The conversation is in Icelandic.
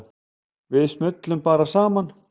Við smullum bara saman.